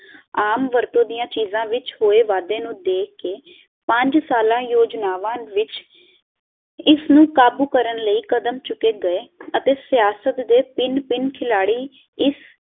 ਆਮ ਵਰਤੋਂ ਦੀਆਂ ਚੀਜਾਂ ਵਿੱਚ ਹੋਏ ਵਾਧੇ ਨੂੰ ਦੇਖ ਕੇ ਪੰਜ ਸਾਲਾਂ ਯੋਜਨਾਮਾ ਵਿੱਚ ਇਸ ਨੂੰ ਕਾਬੂ ਕਰਨ ਲਈ ਕਦਮ ਚੁੱਕੇ ਗਏ ਅਤੇ ਸ਼ੇਆਸਤ ਦੇ ਪਿੰਨ ਪਿੰਨ ਖਿਲਾੜੀ ਇਸ